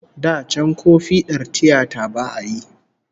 Da can ko fiɗar tiyata ba'a yi